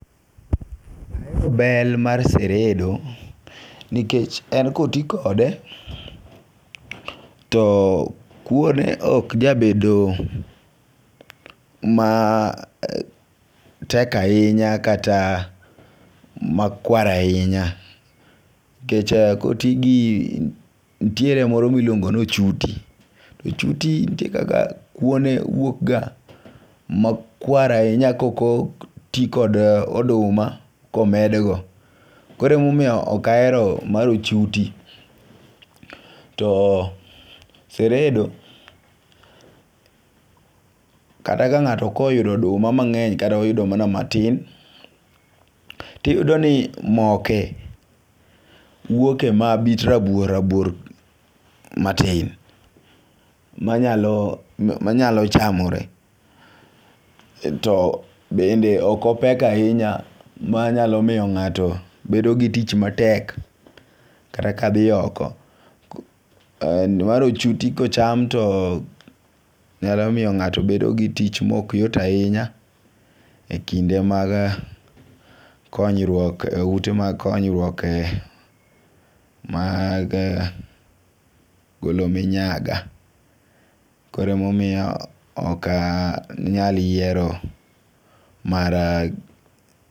Ahero bel mar siredo nikech en koti kode to kuone ok jabedo matek ahinya kata makwar ahinya, nikech koti gi ntie moro miluongo nochuti. Ochuti ntie kaka kuone wuok ga makwar ahinya kokoti kod oduma komed go . Koremomiyo ok ahero mar ochuti .To seredo kata ka ng'ato oyudo oduma mang'eny katoyudo mana matin tiyudo ni moke wuoke mabit rabuor rabuor matin manyalo manyalo chamore . To bende ok opek ahinya manyalo miyo ng'ato bedo gi tich matek kata ka dhi oko. Mar ochuti kocham to nyalo miyo ng'ato nyalo bedo gi tich mok yot ahinya e kinde mag konyruok e ute mag konyruok mag golo minyaga. Kore emomiyo ok anyal yiero mar ochuti.